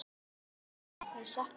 Ásgeir frændi, við söknum þín.